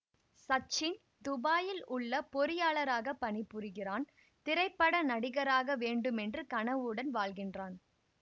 சச்சின் துபாயில் உள்ள பொறியாளராகப் பணிபுரிகிறான் திரைப்பட நடிகராக வேண்டுமென்ற கனவுடன் வாழ்கின்றான்